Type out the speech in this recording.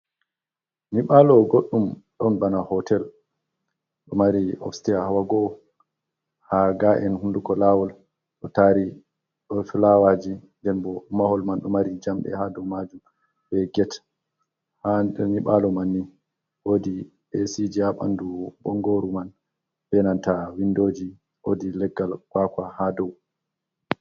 Nyiɓaalo goɗɗum ɗon bana hootel, ɗo mari ofsiteya hawa go'o, haa ga’en hunnduko laawol, ɗo taari ɗon fulawaaji. Nden bo mahol man, ɗo mari jamɗe haa dow maajum be get, haa nyiɓaalo man ni, woodi eesiji haa ɓanndu bonngooru man, be nanta winndooji, woodi leggal kuwakuwa haa dow.